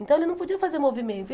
Então ele não podia fazer movimento.